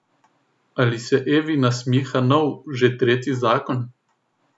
Ali se Evi nasmiha nov, že tretji zakon?